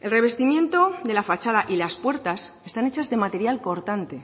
el revestimiento de la fachada y las puertas están hechas de material cortante